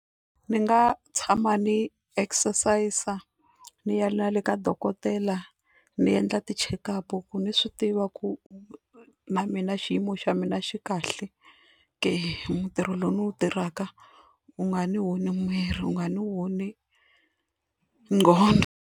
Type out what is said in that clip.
Ni nga tshama ni exercise, ni ya na le ka dokodela ni endla ti checkup ku ni swi tiva ku na mina xiyimo xa mina xi kahle ke, ntirho lowu ndzi wu tirhaka u nga ni onhi miri u nga ni onhi nqondho.